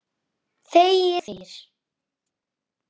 Þegir og þegir.